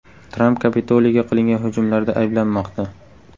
Tramp Kapitoliyga qilingan hujumlarda ayblanmoqda.